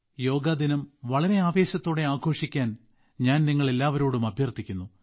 യോഗ ദിനം വളരെ ആവേശത്തോടെ ആഘോഷിക്കാൻ ഞാൻ നിങ്ങൾ എല്ലാവരോടും അഭ്യർത്ഥിക്കുന്നു